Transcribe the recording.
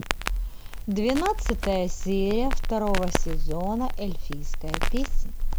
двенадцатая серия второго сезона эльфийская песня